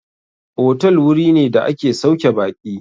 Otal wuri ne da ake sauke baƙi.